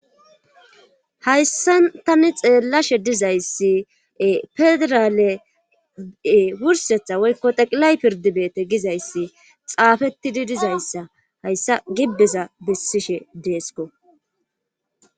Hayssa tani xeellashe dizayssie pedraale wursetha woykko teqilay pirdibeete gizayssi xaafetidi dizayssa hayssa gibbeza bessishe deesko.